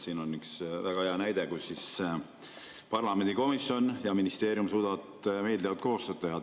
Siin on üks väga hea näide, kuidas parlamendi komisjon ja ministeerium suudavad meeldivalt koostööd teha.